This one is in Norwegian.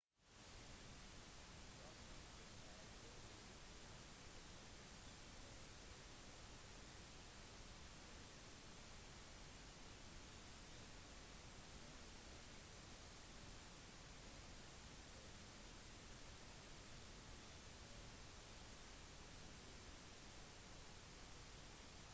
som motiv er dyreliv blant fotografens største utfordringer og for å kunne ta et godt bilde trenger man en kombinasjon av flaks tålmodighet erfaring og egnet utstyr